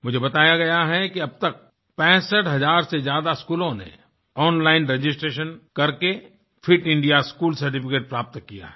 मुझे बताया गया है कि अब तक 65000 से ज्यादा स्कूलों ने ओनलाइन रजिस्ट्रेशन करके फिट इंडिया स्कूल सर्टिफिकेट प्राप्त किया है